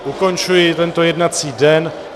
Ukončuji tento jednací den.